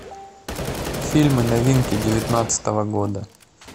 фильмы новинки девятнадцатого года